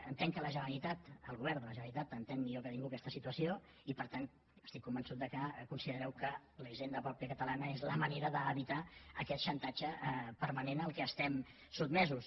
entenc que la generalitat el govern de la generalitat entén millor que ningú aquesta situació i per tant estic convençut que considerareu que la hisenda pròpia catalana és la manera d’evitar aquest xantatge permanent a què estem sotmesos